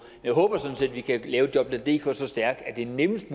jeg håber sådan set at vi kan lave jobnetdk så stærkt at det er nemmest